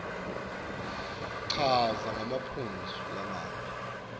chaza ngemaphuzu lamabili